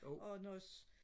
og når